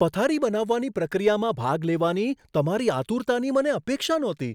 પથારી બનાવવાની પ્રક્રિયામાં ભાગ લેવાની તમારી આતુરતાની મને અપેક્ષા નહોતી.